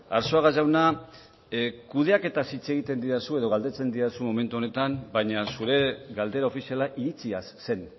arzuaga jauna kudeaketaz hitz egiten didazu edo galdetzen didazu momentu honetan baina zure galdera ofiziala iritziaz zen